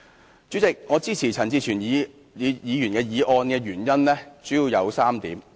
代理主席，我支持陳志全議員的議案的原因主要有3點。